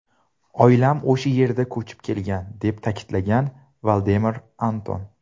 Oilam o‘sha yerdan ko‘chib kelgan”, deb ta’kidlagan Valdemar Anton.